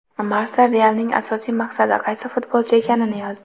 Marca "Real"ning asosiy maqsadi qaysi futbolchi ekanini yozdi.